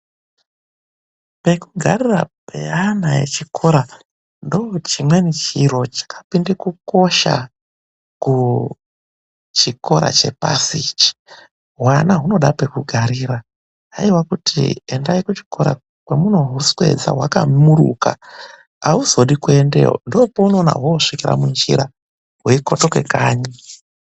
Pekugara peana echikora ndoochimweni chiro chakapinde kukosha kuchikora chepasi ichi. Hwana hunoda pekugarira, haiwa kuti endai kuchikora kwemunohuswedza hwakamuruka. Ahuzodi kuendeyo, ndoopemunoona hoosvika munjira hweikotoke kanyi.